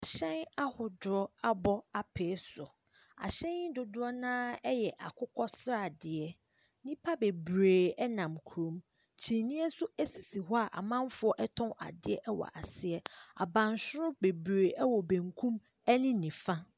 Hyɛn ahodoɔ abɔ apee so. Ahyɛn dodoɔ no ara yɛ akokɔsradeɛ. Nnipa bebree nam kurom. Kyiniiɛ nso sisi hɔ a amanfoɔ tɔn adeɛ wɔ ase. Abansoro wɔ benkum ne nifa.